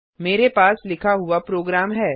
मेरे पास लिखा हुआ प्रोग्राम है